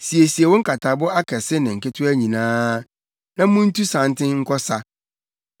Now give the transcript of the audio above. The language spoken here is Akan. “Siesie wo nkatabo akɛse ne nketewa nyinaa, na muntu santen nkɔ ɔsa!